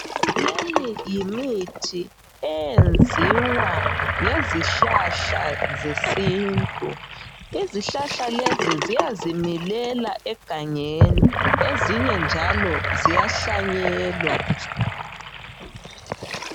Leyi yimithi eyenziwa ngezihlahla zesintu .Izihlahla lezi ziyazi milela egangeni. Ezinye njalo ziyahlanyelwa.